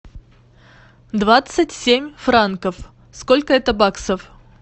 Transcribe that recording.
двадцать семь франков сколько это баксов